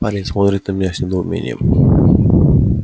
парень смотрит на меня с недоумением